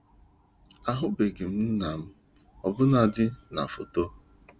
Ahụbeghị m nna m, ọbụnadị na foto